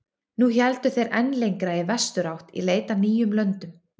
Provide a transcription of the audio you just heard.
Nú héldu þeir enn lengra í vesturátt í leit að nýjum löndum.